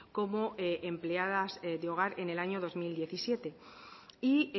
como empleadas de hogar en el año dos mil diecisiete y